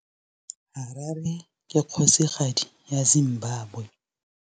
Harare ke kgosigadi ya Zimbabwe.